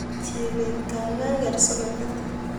Chebet kaikai ker soketit